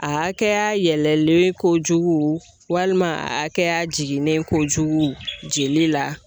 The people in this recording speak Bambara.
A hakɛya yɛlɛlen kojugu walima akɛya jiginnen kojugu jeli la.